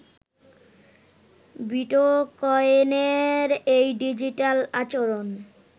বিটকয়েনের এই ডিজিটাল আচরণ